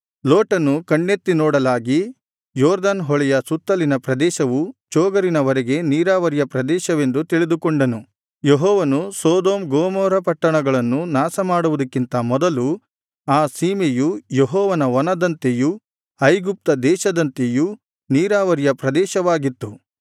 ಲೋಟನು ಕಣ್ಣೆತ್ತಿ ನೋಡಲಾಗಿ ಯೊರ್ದನ್ ಹೊಳೆಯ ಸುತ್ತಲಿನ ಪ್ರದೇಶವು ಚೋಗರಿನವರೆಗೆ ನೀರಾವರಿಯ ಪ್ರದೇಶವೆಂದು ತಿಳಿದುಕೊಂಡನು ಯೆಹೋವನು ಸೊದೋಮ್ ಗೊಮೋರ ಪಟ್ಟಣಗಳನ್ನು ನಾಶಮಾಡುವುದಕ್ಕಿಂತ ಮೊದಲು ಆ ಸೀಮೆಯು ಯೆಹೋವನ ವನದಂತೆಯೂ ಐಗುಪ್ತ ದೇಶದಂತೆಯೂ ನೀರಾವರಿಯ ಪ್ರದೇಶವಾಗಿತ್ತು